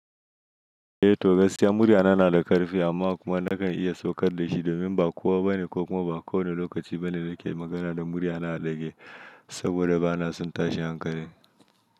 Eh to gaskiya muryana na da karfi amma kuma nakan iya saukar da shi domin ba kowa ba ne ko kuma ba kowani lokaci ba ne da nake magana da muryana a ɗage saboda bana son tashi hankali.